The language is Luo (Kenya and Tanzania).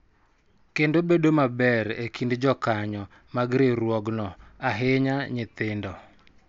Kendo bedo maber e kind jokanyo mag riwruogno, ahinya nyithindo.